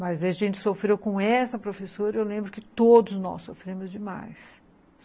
Mas a gente sofreu com essa professora e eu lembro que todos nós sofremos demais.